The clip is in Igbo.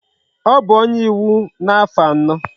O bu onye iwu na afo ano